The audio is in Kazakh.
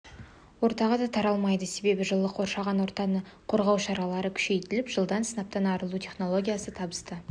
ортаға да таралмайды себебі жылы қоршаған ортаны қорғау шаралары күшейтіліп жылдары сынаптан арылу технологиясы табысты